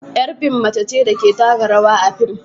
Yar fim mace ce da ke taka rawa a fim